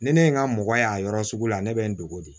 Ni ne ye n ka mɔgɔ y'a yɔrɔ sugu la ne bɛ n dogo de